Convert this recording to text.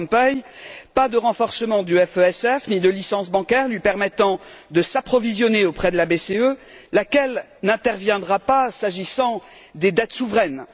Van Rompuy pas de renforcement du FESF ni de licence bancaire lui permettant de s'approvisionner auprès de la BCE, laquelle n'interviendra pas, s'agissant des dettes souveraines.